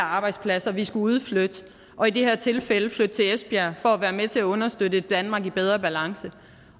arbejdspladser vi skulle udflytte og i det her tilfælde flytte til esbjerg for være med til at understøtte et danmark i bedre balance